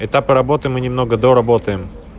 этапы работы мы немного до работаем